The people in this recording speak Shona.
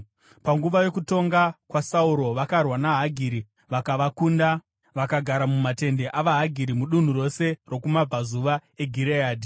Panguva yokutonga kwaSauro vakarwa navaHagiri vakavakunda vakagara mumatende avaHagiri mudunhu rose rokumabvazuva eGireadhi.